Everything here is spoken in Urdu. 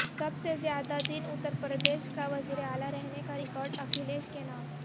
سب سے زیادہ دن اتر پردیش کا وزیر اعلی رہنے کا ریکارڈ اکھلیش کے نام